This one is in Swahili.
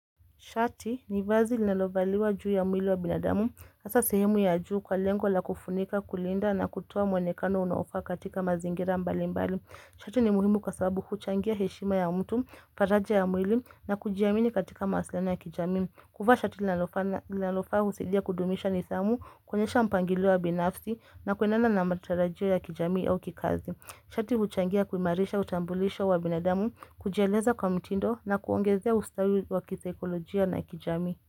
Shati ni vazi linalovaliwa juu ya mwili wa binadamu, hasa sehemu ya juu kwa lengo la kufunika, kulinda na kutoa mwonekano unaofaa katika mazingira mbali mbali. Shati ni muhimu kwa sababu huchangia heshima ya mtu, faraja ya mwili na kujiamini katika mawasiliano ya kijamii. Kuvaa shati linalofaa husaidia kudumisha nidhamu, kuonyesha mpangilio wa binafsi na kuendana na matarajio ya kijamii au kikazi. Shati huchangia kuimarisha, utambulisho wa binadamu, kujieleza kwa mtindo na kuongezea ustawi wa kisaikolojia na kijami.